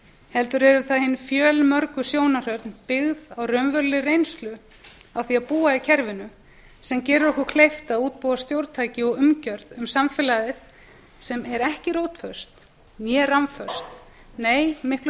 heldur eru það hin fjölmörgu sjónarhorn byggð á raunverulegri reynslu af því að búa í kerfinu sem gerir okkur kleift að útbúa stjórntæki og umgjörð um samfélagið sem er hvorki rótföst né rammföst nei miklu